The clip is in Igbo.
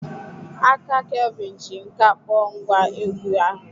Aka Kelvin ji nkà kpọọ ngwá egwú ahụ.